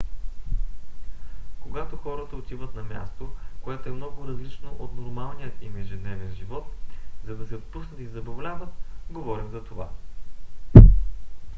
когато хората отиват на място което е много различно от нормалния им ежедневен живот за да се отпуснат и забавляват говорим за това